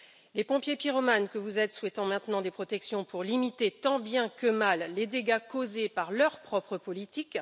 Les pompiers pyromanes que vous êtes souhaitent maintenant mettre en place des protections pour limiter, tant bien que mal, les dégâts causés par leur propre politique.